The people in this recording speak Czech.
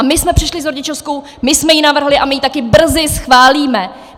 A my jsme přišli s rodičovskou, my jsme ji navrhli a my ji taky brzy schválíme!